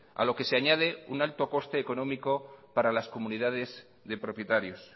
a lo que se añade un alto coste económico para las comunidades de propietarios